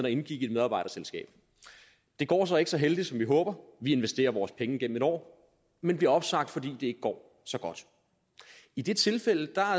og indgik i et medarbejderselskab det går så ikke så heldigt som vi håber vi investerer vores penge gennem et år men bliver opsagt fordi ikke går så godt i det tilfælde